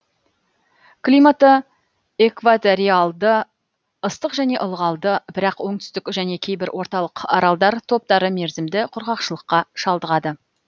климаты экваториалды ыстық және ылғалды бірақ оңтүстік және кейбір орталық аралдар топтары мерзімді құрғақшылыққа шалдығады